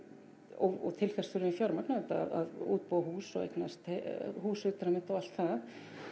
og til þess þurfum við fjármagn auðvitað að útbúa hús og eignast hús utan um þetta og allt það